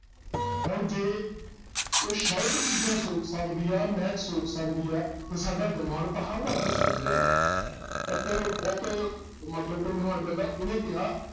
ਹੁਣ ਜੇ ਉਹ shirt ਚੀਜ਼ਾਂ ਸੋਕ ਸਕਦੀ ਆ, ਮਹਿਕ ਸੋਕ ਸਕਦੀ ਆ ਤੇ ਸਾਡਾ ਦਿਮਾਗ ਤਾਂ ਹਰ ਵਕਤ ਸੋਕ ਰਿਹਾ ਵਾ ਇੱਕ ਬਹੁਤ ਮਤਲਬ ਕੋਈ ਮਹਾਨ ਬੰਦਾ ਉਹਨੇ ਕਿਹਾ